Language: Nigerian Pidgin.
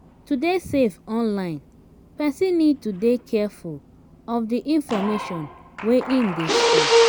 to dey safe online person need to dey careful of di information wey im dey share